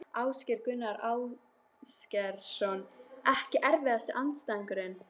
Ásgeir Gunnar Ásgeirsson EKKI erfiðasti andstæðingur?